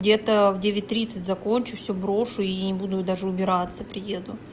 где-то в девять тридцать закончу все брошу и не буду даже убираться приеду